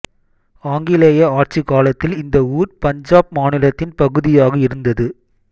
ஆங்கிலேய ஆட்சி காலத்தில் இந்த ஊர் பஞ்சாப் மாநிலத்தின் பகுதியாக இருந்தது